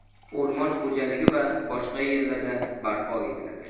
o‘rmon xo‘jaligi va boshqa yerlarda barpo etiladi.